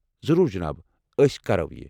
ضروٗر جناب، أسۍ کرَو یہِ۔